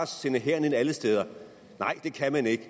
sende hæren ind alle steder nej det kan man ikke